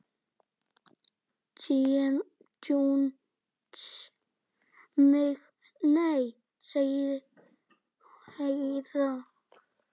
Jesús minn, nei, sagði Heiða.